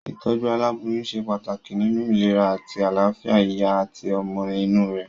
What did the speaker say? Ìtójú aláboyún se pàtàkì nínu ìlera àti àláfìa ìyá àti ọmọ inú rè